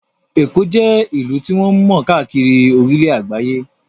Èkó jẹ́ ìlú tí wọ́n mọ̀ káàkiri orílẹ̀ àgbáyé